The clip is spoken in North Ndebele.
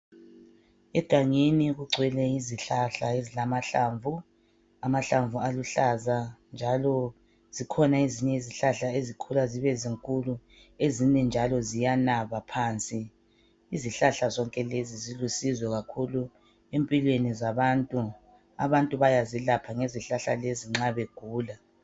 Egangeni kugcwele izihlahla ezilamahlamvu, amahlamvu aluhlaza njalo zikhona ezinye izihlahla ezikhula zibe zinkulu ezinye njalo ziyanaba phansi. Izihlahla zonke lezi zilusizo kakhulu empilweni zabantu. Abantu bayazelapha ngezihlahla lezi nxa begula.